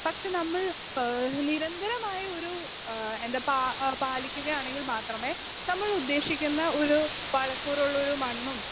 speaker 2 പക്ഷേ നമ്മൾ ഏഹ് നിരന്തരമായി ഒരു ഏഹ് എന്താ പാ പാലിക്കുകയാണെങ്കിൽ മാത്രമേ നമ്മൾ ഉദ്ദേശിക്കുന്ന ഒരു പഴക്കൂറുള്ളൊരു മണ്ണും